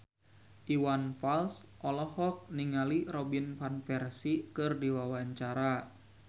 Iwan Fals olohok ningali Robin Van Persie keur diwawancara